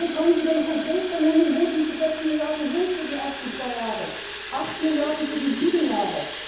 Können Sie denn konkret benennen, wo diese sechs Milliarden für die ersten zwei Jahre sind, acht Milliarden für die sieben Jahre?